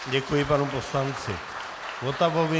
Děkuji panu poslanci Votavovi.